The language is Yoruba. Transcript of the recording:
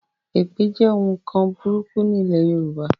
Èpè jẹ́ òun nkan burúkú ní ilé Yorùbá